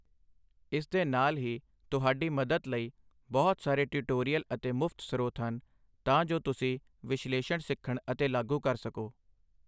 ਇਸਦੇ ਨਾਲ ਹੀ, ਤੁਹਾਡੀ ਮਦਦ ਲਈ ਬਹੁਤ ਸਾਰੇ ਟਿਊਟੋਰੀਅਲ ਅਤੇ ਮੁਫ਼ਤ ਸਰੋਤ ਹਨ ਤਾਂ ਜੋ ਤੁਸੀ ਵਿਸ਼ਲੇਸ਼ਣ ਸਿੱਖਣ ਅਤੇ ਲਾਗੂ ਕਰ ਸਕੋ I